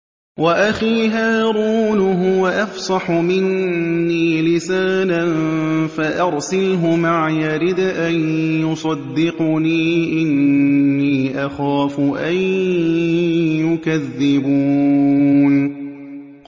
وَأَخِي هَارُونُ هُوَ أَفْصَحُ مِنِّي لِسَانًا فَأَرْسِلْهُ مَعِيَ رِدْءًا يُصَدِّقُنِي ۖ إِنِّي أَخَافُ أَن يُكَذِّبُونِ